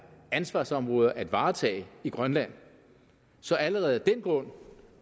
ansvarsområder at varetage i grønland så allerede af den grund